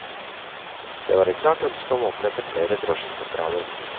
Det var et klart ønske om å opprette flere drosjesentraler.